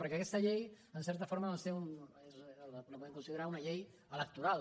perquè aquesta llei en certa forma doncs la podem considerar una llei electoral